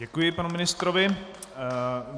Děkuji panu ministrovi.